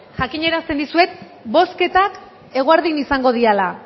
jakinarazten dizuet bozketak eguerdian izango direla